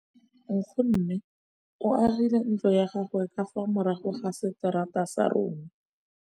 Nkgonne o agile ntlo ya gagwe ka fa morago ga seterata sa rona.